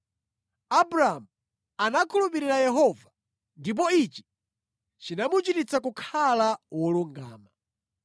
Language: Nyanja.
Abramu anakhulupirira Yehova, ndipo ichi chinamuchititsa kukhala wolungama.